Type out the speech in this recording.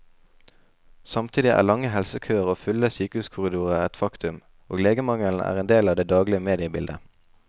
Samtidig er lange helsekøer og fulle sykehuskorridorer et faktum, og legemangelen er en del av det daglige mediebildet.